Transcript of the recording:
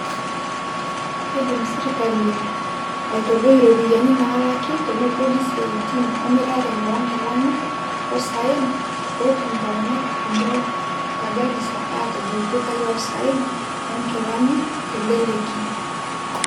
Keidim serkali aitadoi iropiyiani nalaki teneboli isiaitin emirare onkilani osaen, peyie etum intomonok kumok te Garisa atobol ildukai loo isaen onkilani teleleki.